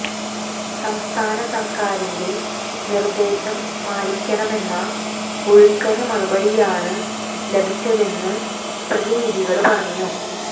സംസ്ഥാന സര്ക്കാരിന്റെ നിര്ദേശം പാലിക്കണമെന്ന ഒഴുക്കന് മറുപടിയാണ് ലഭിച്ചതെന്ന് പ്രതിനിധികള് പറഞ്ഞു